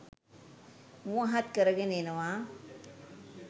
මුවහත් කරගෙන එනව.